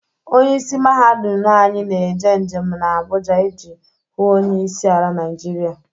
Onye isi mahadum anyi na-eje njem na Abụja ije hụ onye isi ala Naịjiria